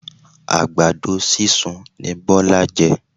Àgbàdo sísun ni Biola jẹ.